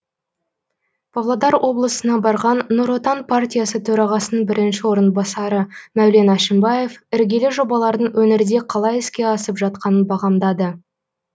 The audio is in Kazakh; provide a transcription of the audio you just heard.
павлодар облысына барған нұр отан партиясы төрағасының бірінші орынбасары мәулен әшімбаев іргелі жобалардың өңірде қалай іске асып жатқанын бағамдады